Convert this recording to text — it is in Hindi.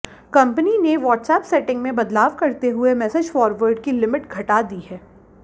कंपनी ने व्हाट्सएप सेटिंग में बदलाव करते हुए मैसेज फॉरवर्ड की लिमिट घटा दी है